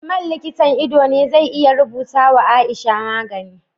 Usman likitan ido ne zai iya rubuta wa aisha magani